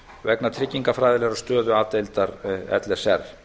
vegna tryggingafræðilegrar stöðu a deildar l s r